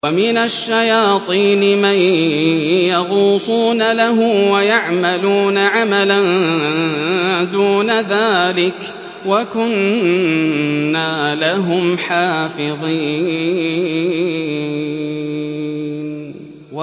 وَمِنَ الشَّيَاطِينِ مَن يَغُوصُونَ لَهُ وَيَعْمَلُونَ عَمَلًا دُونَ ذَٰلِكَ ۖ وَكُنَّا لَهُمْ حَافِظِينَ